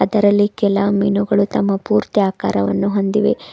ಇದರಲ್ಲಿ ಕೆಲ ಮೀನುಗಳು ತಮ್ಮ ಪೂರ್ತಿ ಆಕಾರವನ್ನು ಹೊಂದಿವೆ.